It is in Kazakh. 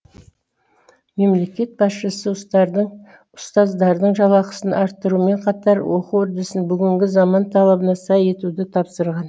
мемлекет басшысы ұстаздардың жалақасын арттырумен қатар оқу үрдісін бүгінгі заман талабына сай етуді тапсырған